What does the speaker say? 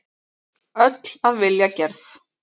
Öll af vilja gerð.